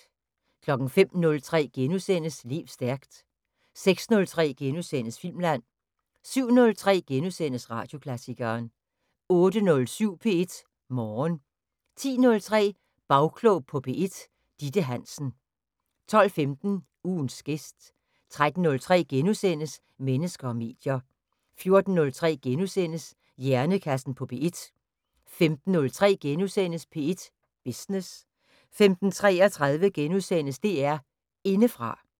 05:03: Lev stærkt * 06:03: Filmland * 07:03: Radioklassikeren * 08:07: P1 Morgen 10:03: Bagklog på P1: Ditte Hansen 12:15: Ugens gæst 13:03: Mennesker og medier * 14:03: Hjernekassen på P1 * 15:03: P1 Business * 15:33: DR Indefra *